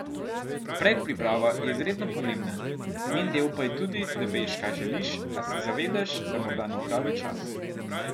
Predpriprava je izredno pomembna, njen del pa je tudi, da veš, kaj želiš, a se zavedaš, da morda ni pravi čas.